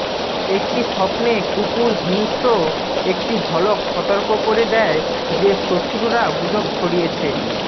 একটি স্বপ্নে কুকুর হিংস্র একটি ঝলক সতর্ক করে দেয় যে শত্রুরা গুজব ছড়িয়েছে